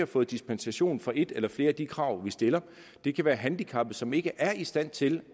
fået dispensation for et eller flere af de krav vi stiller det kan være handicappede som ikke er i stand til